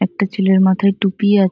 একটা ছেলের মাথায় টুপি আ--